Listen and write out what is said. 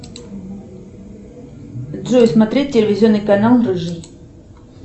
джой смотреть телевизионный канал рыжий